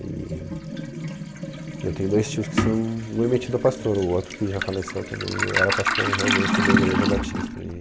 E, e eu tenho dois tios que são, um é metido a pastor, o outro que já faleceu também, era pastor realmente numa igreja batista.